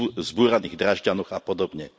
v zbúraných Drážďanoch a podobne.